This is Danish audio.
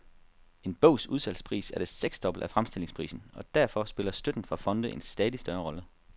En bogs udsalgspris er det seksdobbelte af fremstillingsprisen, og derfor spiller støtten fra fonde en stadig større rolle.